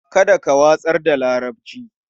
Kada ka watsar da larabci.